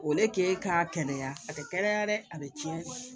O ne ke k'a kɛnɛya a tɛ kɛnɛya dɛ a bɛ tiɲɛ